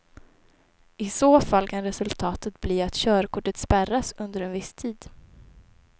I så fall kan resultatet bli att körkortet spärras under en viss tid.